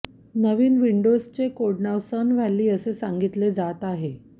नवीन विंडोजचे कोडनाव Sun Valley असे सांगितले जात आहे